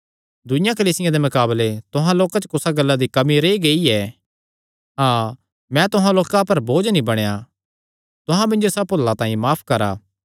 दूईआं कलीसियां दे मकाबले तुहां लोकां च कुसा गल्ला दी कमी रेई गेई ऐ हाँ मैं तुहां लोकां पर बोझ नीं बणेया तुहां मिन्जो इसा भुल्ला तांई माफ करा